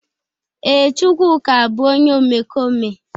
Ee, Chukwuka bu onye omekome.